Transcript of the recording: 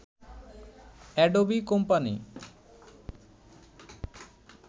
Adobe company